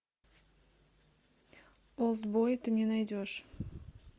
олд бой ты мне найдешь